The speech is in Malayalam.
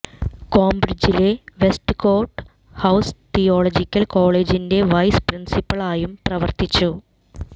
കേംബ്രിജിലെ വെസ്റ്റ് കോട്ട് ഹൌസ് തിയോളജിക്കൽ കോളേജിന്റെ വൈസ് പ്രിൻസിപ്പിളായും പ്രവർത്തിച്ചു